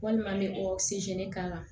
Walima n bɛ o k'a la